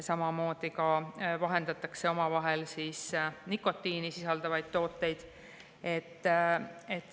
Samamoodi vahendavad omavahel nikotiini sisaldavaid tooteid.